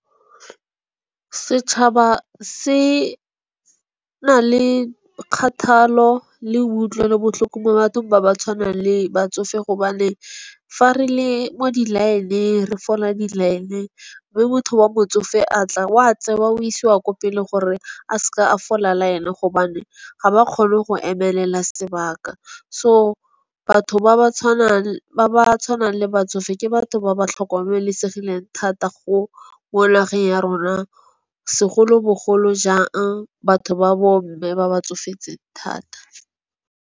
Setšhaba se na le kgathalo le kutlwelobotlhoko mo bathong ba ba tshwanang le batsofe, gobane fa re le mo di line-ng re fola di line-ng. Moo motho wa botsofe a tla wa tseba o isiwa ko pele gore a seke a fola line gobane, ga ba kgone go emelela sebaka. So, batho ba ba tshwanang ba ba tshwanang le batsofe ke batho ba ba tlhokomelesegileng thata go ko nageng ya rona segolobogolo jang, batho ba bo mme ba ba tsofetseng thata.